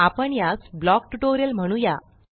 आपण यास block tutorial म्हणूया